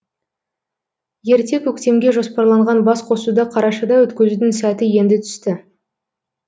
ерте көктемге жоспарланған басқосуды қарашада өткізудің сәті енді түсті